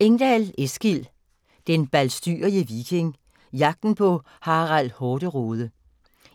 Engdal, Eskil: Den balstyrige viking: jagten på Harald Hårderåde